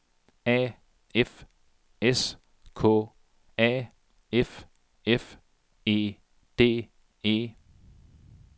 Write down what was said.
A F S K A F F E D E